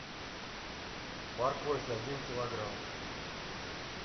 морковь один килограмм